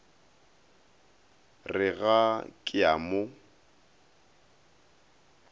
re ga ke a mo